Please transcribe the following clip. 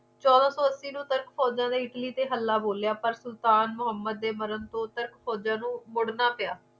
ਚੋਦਾਂ ਸੋ ਅੱਸੀ ਨੂੰ ਤਰਕ ਬੋਲਾ ਨੇ ਇਟਲੀ ਚ ਹਲਾ ਬੋਲਿਆ ਪਰ ਸੁਲਤਾਨ ਮਹੋਮਦ ਦੇ ਮਰਨ ਫੋਜਾ ਨੂੰ ਮੁੜਨਾ ਪਿਆ